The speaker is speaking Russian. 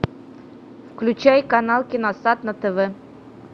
включай канал киносад на тв